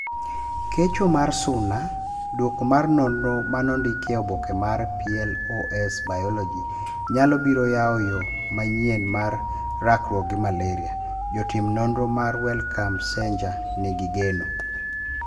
Kecho mar suna:Duoko mar nonro manondikie oboke mar PLoS Biology, nyalo biro yao yoo manyienmar rakruok gi malaria, jotim nonro mar Wellcome Sanger nigi geno.